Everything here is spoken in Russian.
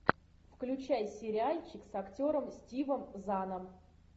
включай сериальчик с актером стивом заном